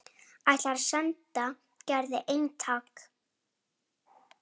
Ætlar að senda Gerði eintak.